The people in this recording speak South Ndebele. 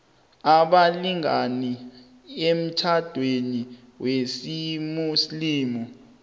abalingani emtjhadweni wesimuslimu